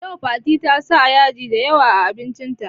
Yau Fatima ta sa yaji da yawa a abincin ta